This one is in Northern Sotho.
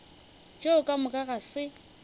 tšeo ka moka ga se